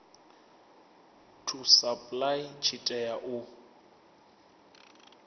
to apply tshi tea u